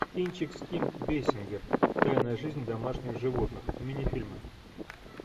кинчик с ким бейсингер тайная жизнь домашних животных минифильмы